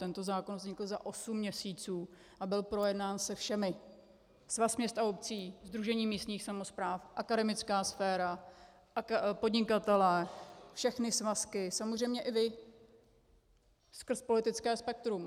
Tento zákon vznikl za osm měsíců a byl projednán se všemi, Svaz měst a obcí, Sdružení místních samospráv, akademická sféra, podnikatelé, všechny svazky, samozřejmě i vy skrz politické spektrum.